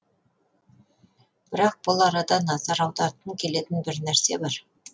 бірақ бұл арада назар аудартқым келетін бір нәрсе бар